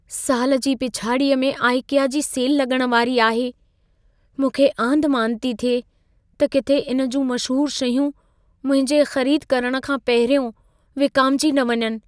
साल जी पिछाड़ीअ में आइकिया जी सेल लॻण वारी आहे। मूंखे आंधिमांध थी थिए त किथे इन जूं मशहूर शयूं मुंहिंजे ख़रीद करण खां पहिरियों विकामिजी न वञनि।